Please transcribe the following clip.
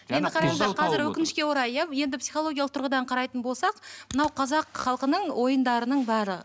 енді қараңыздаршы қазір өкінішке орай иә енді психологиялық тұрғыдан қарайтын болсақ мынау қазақ халқының ойындарының бәрі